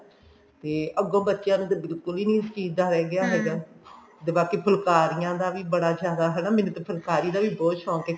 ਤੇ ਅੱਗੋ ਬੱਚਿਆ ਨੂੰ ਤਾਂ ਬਿਲਕੁੱਲ ਵੀ ਨੀ ਇਸ ਚੀਜ਼ ਦਾ ਰਹਿ ਗਿਆ ਹੈਗਾ ਤੇ ਬਾਕੀ ਫੁਲਕਾਰੀਆ ਦਾ ਵੀ ਬੜਾ ਜਿਆਦਾ ਹਨਾ ਮੈਨੂੰ ਤਾਂ ਫੁਲਕਾਰੀ ਦਾ ਵੀ ਬਹੁਤ ਸ਼ੋਂਕ ਹੈ